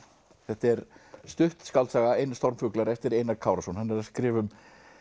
þetta er stutt skáldsaga Stormfuglar eftir Einar Kárason hann er að skrifa um